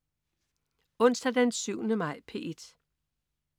Onsdag den 7. maj - P1: